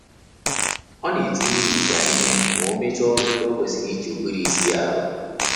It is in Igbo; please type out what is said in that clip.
Ọ na etinye ihicha ihe ma omecha ọrụ ndị o kwesịrị iji ụbụrụ isi ya aru